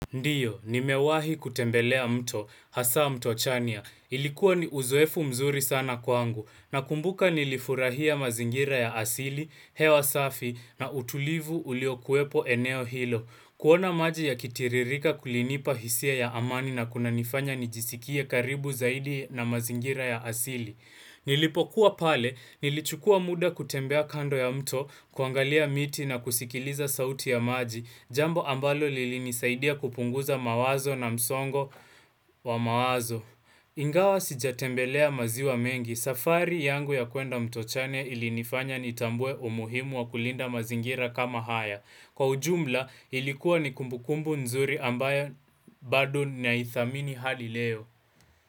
Ndio, nimewahi kutembelea mto, hasa mto chania. Ilikuwa ni uzoefu mzuri sana kwangu, na kumbuka nilifurahia mazingira ya asili, hewa safi, na utulivu ulio kuwepo eneo hilo. Kuona maji ya kitiririka kulinipa hisia ya amani na kuna nifanya nijisikie karibu zaidi na mazingira ya asili. Nilipokuwa pale nilichukua muda kutembea kando ya mto kuangalia miti na kusikiliza sauti ya maji Jambo ambalo lili nisaidia kupunguza mawazo na msongo wa mawazo Ingawa sijatembelea maziwa mengi safari yangu ya kuenda mto chania ilinifanya nitambue umuhimu wa kulinda mazingira kama haya Kwa ujumla ilikuwa ni kumbukumbu nzuri ambayo bado na ithamini hali leo.